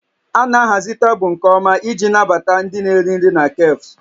A na-ahazi tebụl nke ọma iji nabata ndị na-eri nri na cafes